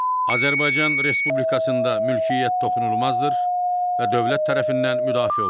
Azərbaycan Respublikasında mülkiyyət toxunulmazdır və dövlət tərəfindən müdafiə olunur.